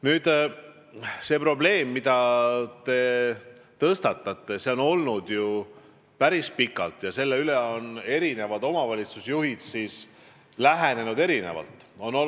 Nüüd, see probleem, mille te tõstatasite, on päris pikalt üleval olnud ja omavalitsusjuhid on sellele erinevalt lähenenud.